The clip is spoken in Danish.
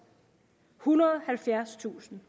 ethundrede og halvfjerdstusind